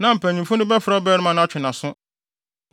na mpanyimfo no bɛfrɛ ɔbarima no atwe nʼaso.